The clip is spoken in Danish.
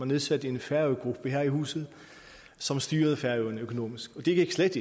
nedsat en færøgruppe her i huset som styrede færøerne økonomisk og det gik slet